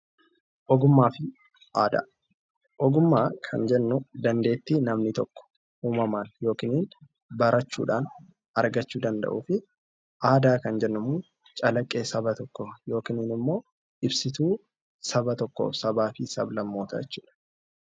Ogummaafi aadaa. Ogummaa kan jennuu dandeettii namni tokko uumamaan yokiin barachuudhaan argachuu danda'uu fi aadaa kan jennummoo calaqqee saba tokkoo yokin immoo ibsituu saba tokkoo sabaa fi sablammootaa jechuudha.